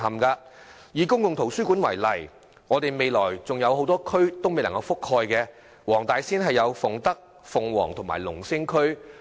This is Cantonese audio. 區內多個公共圖書館服務未能覆蓋的地區，包括黃大仙的鳳德、鳳凰及龍星區。